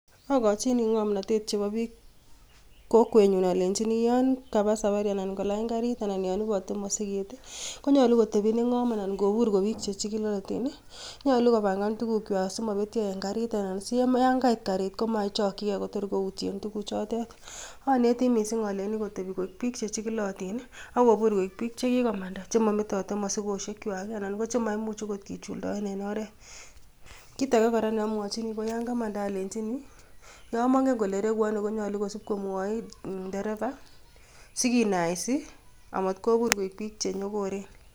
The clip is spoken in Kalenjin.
Akochi ngomnotet chitab kokwenyun alenyiini yon kabaa safari anan ko kolany garit anan koibotee mosikeet. Konyolu kotemii nengoom anan kobuur ko bik chechigilootin, nyolu kopangaan tuguukchwak simobetyoo en garit anan siyon kait garit, komot kochokchigei Kotor koutyeen tuguchotet. Aneti missing alenyii kotebii koik bik chechigilootin i,akoboor koik bik chekikoomandaa chemometote mosigosiekchwak. Anan kochemaimuch okot kichulidoen en oret. Kitage kora neomwochini yon kamanda alenyiini yon mongen kole reguu onoo konyoolu kosiib komwoii indereva sikinaisii amat kobuur koik bik chenyookoren.